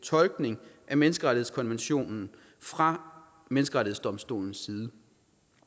tolkning af menneskerettighedskonventionen fra menneskerettighedsdomstolens side